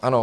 Ano.